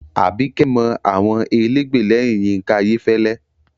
Àbíkẹ́ mọ àwọn elégbè lẹ́yìn Yínká Ayéfẹ́lẹ́